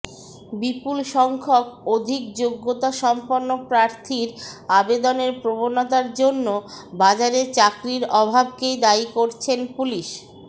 বিপুল সংখ্যক অধিক যোগ্যতা সম্পন্ন প্রার্থীর আবেদনের প্রবণতার জন্য বাজারে চাকরির অভাবকেই দায়ী করছেন পুলিশ